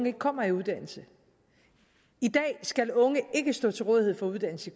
ikke kommer i uddannelse i dag skal unge ikke stå til rådighed for uddannelse